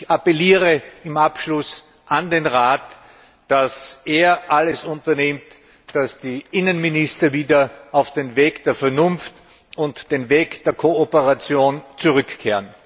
Ich appelliere zum Abschluss an den Rat, dass er alles unternimmt, damit die Innenminister wieder auf den Weg der Vernunft und der Kooperation zurückkehren.